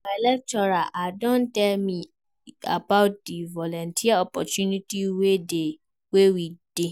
My lecturer don tell me about di volunteer opportunity wey dey.